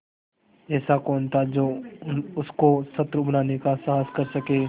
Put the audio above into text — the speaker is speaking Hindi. ऐसा कौन था जो उसको शत्रु बनाने का साहस कर सके